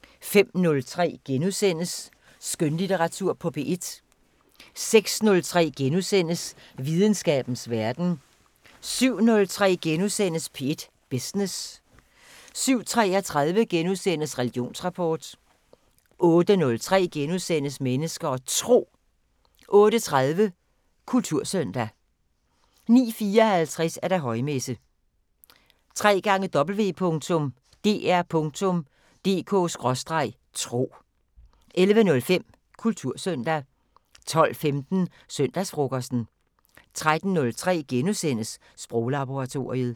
05:03: Skønlitteratur på P1 * 06:03: Videnskabens Verden * 07:03: P1 Business * 07:33: Religionsrapport * 08:03: Mennesker og Tro * 08:30: Kultursøndag 09:54: Højmesse - www.dr.dk/tro 11:05: Kultursøndag 12:15: Søndagsfrokosten 13:03: Sproglaboratoriet *